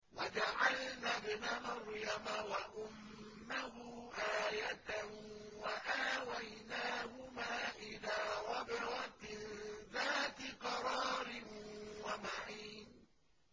وَجَعَلْنَا ابْنَ مَرْيَمَ وَأُمَّهُ آيَةً وَآوَيْنَاهُمَا إِلَىٰ رَبْوَةٍ ذَاتِ قَرَارٍ وَمَعِينٍ